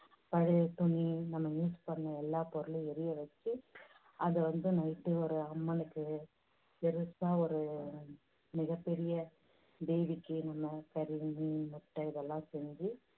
பழைய துணி நம்ம use பண்ணின எல்லா பொருளும் எரிய வெச்சு அதை வந்து night ஒரு அம்மனுக்கு பெருசா ஒரு மிகப் பெரிய தேவிக்கு நம்ம முட்டை இதெல்லாம் செஞ்சு